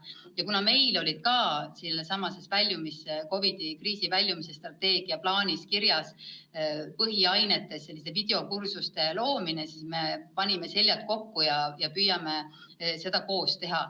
Ja kuna meil oli ka kriisist väljumise strateegia plaanis kirjas põhiainetes videokursuste loomine, siis me panime seljad kokku ja püüame seda koos teha.